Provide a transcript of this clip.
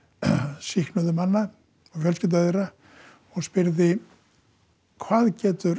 sýknuðu manna og fjölskyldu þeirra og spyrði hvað getur